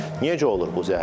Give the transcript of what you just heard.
Necə olur bu zəhərlənmə?